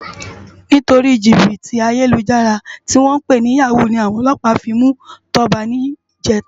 Nitóri jibiti àyélújàrá tiwòn pé ni yàwú ni áwòn òlòpá fi mú Toba nijètá